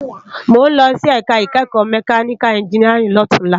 Mó n lòsí èká ikèékò mèkániká ènjìníárìn lòtúnlá